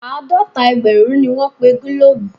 Àádọ́ta ẹgbẹ̀rún ni wọ́n pe gílòòbù.